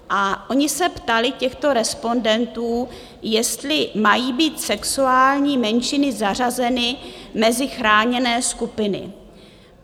A oni se ptali těchto respondentů, jestli mají být sexuální menšiny zařazeny mezi chráněné skupiny.